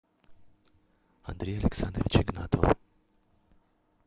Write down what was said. андрея александровича игнатова